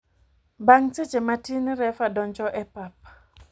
Bang seche matin refa donjo e pap.